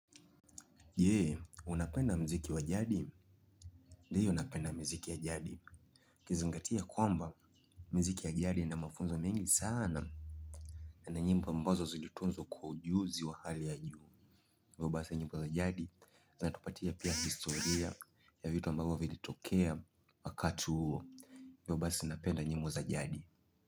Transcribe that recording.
Je, unapenda muziki wa jadi? Ndiyo napenda miziki ya jadi ukizingatia kwamba miziki ya jadi ina mafunzo mengi sana. Na ni nyimbo ambazo zilitunzwa kwa ujuzi wa hali ya juu hivyo basi nyimbo za jadi, zinatupatia pia historia ya vitu ambavyo vilitokea wakati huo. Hivyo basi napenda nyimbo za jadi.